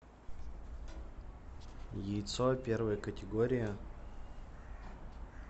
яйцо первая категория